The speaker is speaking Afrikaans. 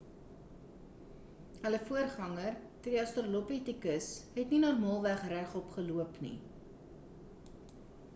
hulle voorganger die australopithecus het nie normaalweg regop geloop nie